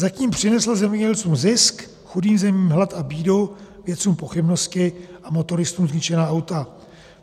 , zatím přinesla zemědělcům zisk, chudým zemím hlad a bídu, vědcům pochybnosti a motoristům zničená auta.